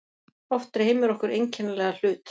Oft dreymir okkur einkennilega hlut.